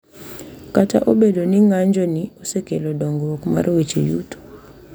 Kata obedo ni ng’anjoni osekelo dongruok mar weche yuto .